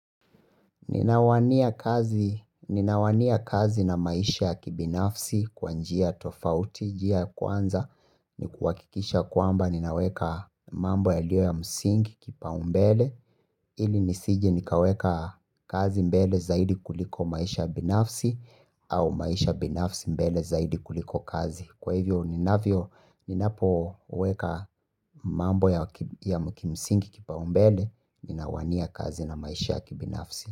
Ninawania kazi na maisha ya kibinafsi kwa njia tofauti, njia ya kwanza ni kuhakikisha kwamba ninaweka mambo yaliyo ya msingi kipaumbele ili nisije nikaweka kazi mbele zaidi kuliko maisha ya binafsi au maisha ya binafsi mbele zaidi kuliko kazi. Kwa hivyo ninavyo ninapo weka mambo ya mkimisingi kipa umbele ninawania kazi na maisha ya kibinafsi.